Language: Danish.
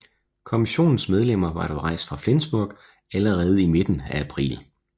Kommissionens medlemmer var dog rejst fra Flensborg allerede i midten af april